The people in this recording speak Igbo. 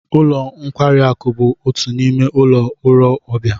Ụlo nkwari aku bụ otu n'ime ụlọ ọrụ ọbịa